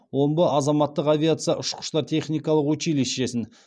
омбы азаматтық авиация ұшқыштар техникалық училищесін